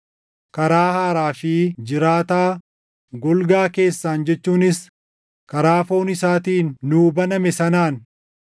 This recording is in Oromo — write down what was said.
karaa haaraa fi jiraataa golgaa keessaan jechuunis karaa foon isaatiin nuu baname sanaan